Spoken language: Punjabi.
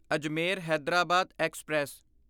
ਅਜਮੇਰ ਹੈਦਰਾਬਾਦ ਐਕਸਪ੍ਰੈਸ